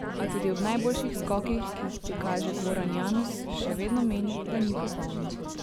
A tudi ob najboljših skokih, ki jih prikaže, Goran Janus še vedno meni, da ni popoln.